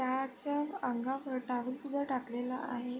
त्याच्या अंगावर टॉवेलसुद्धा टाकलेला आहे.